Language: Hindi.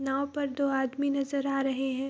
नाव पर दो आदमी नज़र आ रहे हैं।